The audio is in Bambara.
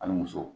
Ani muso